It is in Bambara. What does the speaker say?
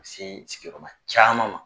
Sin sigiyɔrɔma caman ma.